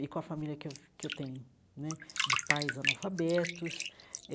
e com a família que eu que eu tenho né, de pais analfabetos.